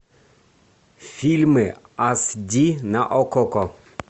фильмы аш ди на окко